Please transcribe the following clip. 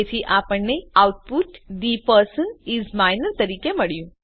તેથી આપણને output the person is minor તરીકે મળ્યું